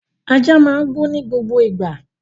Ajá máa ń gbó ní gbogbo ìgbà